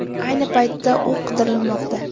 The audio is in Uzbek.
Ayni paytda u qidirilmoqda.